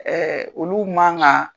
Ɛɛ olu man kan